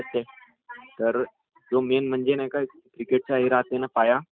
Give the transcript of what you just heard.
हा हा ...बॉलर चांगलं राहिलं तर क्रिकेट म्हणजे खेळायला...